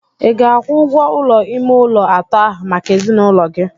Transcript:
Ị ga-akwụ ụgwọ ụlọ ime ụlọ atọ ahụ maka ezinụlọ gị?